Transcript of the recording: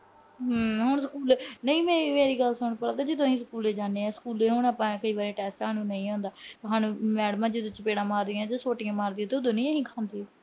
ਹਾਂ, ਨਹੀਂ ਮੇਰੀ ਅਹ ਮੇਰੀ ਗੱਲ ਸੁਣ ਪਲਕ ਜਦੋਂ ਅਸੀਂ ਸਕੂਲੇ ਜਾਂਦੇ ਆ, ਸਕੂਲੇ ਕਈ ਵਾਰੀ test ਸਾਨੂੰ ਨਹੀਂ ਆਂਦਾ। ਮੈਡਮਾਂ ਜਦੋਂ ਚਪੇੜਾਂ ਮਾਰੀਆਂ, ਸੋਟੀਆਂ ਮਾਰਦੀਆਂ, ਉਦੋਂ ਨੀ ਅਸੀਂ ਖਾਂਦੇ।